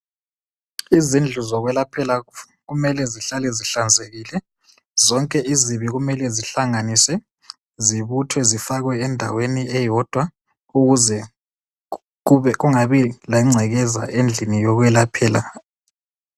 Izindlu zokwelaphela kumele zihlale zihlanzekile zonke izibi kumele zihlanganiswe zibuthwe zifakwe endaweni eyodwa ukuze kungabi lengcekeza endlini yokwelaphela.